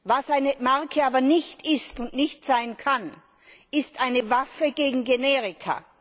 Was eine Marke aber nicht ist und nicht sein kann, ist eine Waffe gegen Generika.